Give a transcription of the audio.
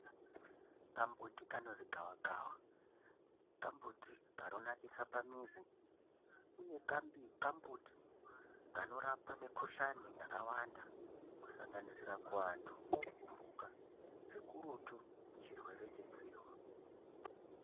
Kamumbuti kanozi gavakava kamumbuti kanonakisa pamizi, uye kamumbuti kanorapa mikhuhlani yakawanda kusanganisira kuantu nekumhuka, zvikurutu chirwere chedzihwa.